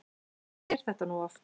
Þannig er þetta nú oft.